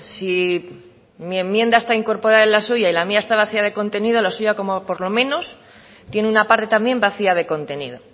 si mi enmienda está incorporada en la suya y la mía está vacía de contenido la suya como por lo menos tiene una parte también vacía de contenido